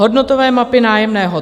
Hodnotové mapy nájemného.